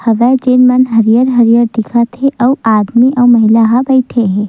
हवय जेन मन हरियर-हरियर दिखत हे अउ आदमी अउ महिला हा बइठे हे।